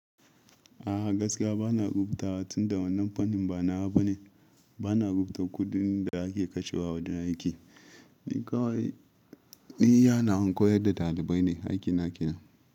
A gaskiya bana rubuta wa tun da wannan fannin banawa bane. Bana rubutu kuɗin da ake kashe wa a wajen aiki. Ni kawai yana koyar da ɗalibai ne aiki na kenan.